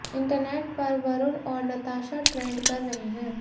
internet पर वरुण और Natasha trend कर रहे हैं